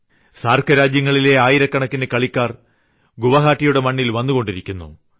സാർക്ക് രാജ്യങ്ങളിലെ ആയിരക്കണക്കിന് കളിക്കാർ ഗുവാഹട്ടിയുടെ മണ്ണിൽ വന്നുകൊണ്ടിരിക്കുന്നു